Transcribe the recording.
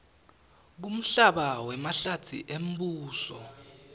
kumhlaba wemahlatsi embuso